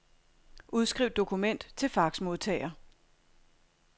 Udskriv dokument til faxmodtager.